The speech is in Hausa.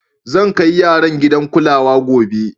Zan kai yaran gidan kulawa gobe.